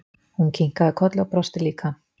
Hún kinkaði kolli og brosti líka.